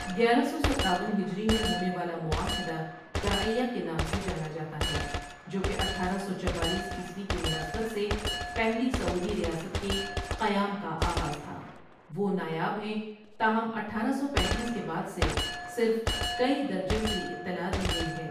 گیارہ سو ستاون ہجری میں ہونے والا معاہدہ درعیہ کے نام سے جانا جاتا ہے جو کہ اٹھارہ سو چوالیس عیسوی کی مناسبت سے پہلی سعودی ریاست کے قیام کا آغاز تھا وہ نایاب ہیں، تاہم اٹھارہ سو پینتیس کے بعد سے صرف کئی درجن کی اطلاع دی گئی ہے۔